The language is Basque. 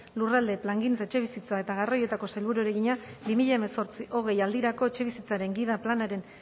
lurralde plangintza etxebizitza eta garraioetako sailburuari egina bi mila hemezortzi bi mila hogei aldirako etxebizitzaren gida planaren